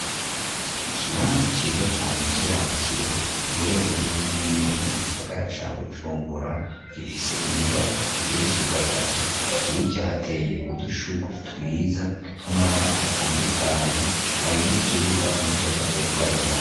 Ikibanza ciza cane c'iratiro giherereye neza na neza mu gisagara ca Bujumbura. Gifise inyubakwa igerezwe gatatu, hirya hateye udushugrwe twiza tw'amabara atandukanye. Hari n'ikibuga imodoka z'ihagararamwo.